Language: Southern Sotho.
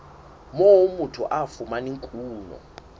moo motho a fumanang kuno